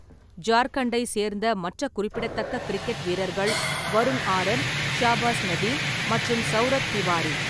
ஜார்க்கண்டை சேர்ந்த மற்ற குறிப்பிடத்தக்க கிரிக்கெட் வீரர்கள் வருண் ஆரன், ஷாபாஸ் நதீம், மற்றும் சவுரப் திவாரி.